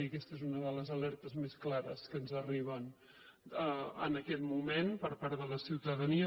i aquesta és una de les alertes més clares que ens arriben en aquest moment per part de la ciutadania